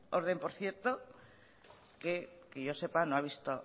bermeo orden por cierto que yo sepa no ha visto